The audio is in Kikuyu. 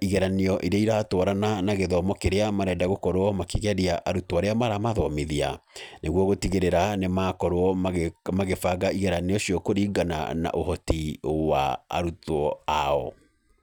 igeranio irĩa iratwarana na gĩthomo kĩrĩa marenda gũkorwo makĩgeria arutwo arĩa maramathomithia. Nĩguo gũtigĩrĩra nĩ makorwo magĩbanga igeranio icio kũringana na ũhoti wa arutwo ao.